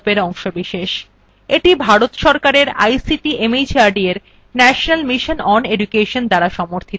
এটি ভারত সরকারের ict mhrd এর national mission on education দ্বারা সমর্থিত